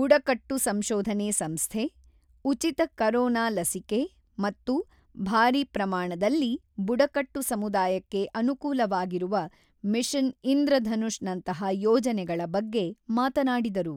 ಬುಡಕಟ್ಟು ಸಂಶೋಧನೆ ಸಂಸ್ಧೆ, ಉಚಿತ ಕರೋನ ಲಸಿಕೆ ಮತ್ತು ಭಾರಿ ಪ್ರಮಾಣದಲ್ಲಿ ಬುಡಕಟ್ಟು ಸಮುದಾಯಕ್ಕೆ ಅನುಕೂಲವಾಗಿರುವ ಮಿಷನ್ ಇಂದ್ರಧನುಷ್ ನಂತಹ ಯೋಜನೆಗಳ ಬಗ್ಗೆ ಮಾತನಾಡಿದರು.